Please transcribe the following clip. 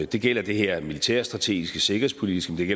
det gælder det her militærstrategiske sikkerhedspolitiske men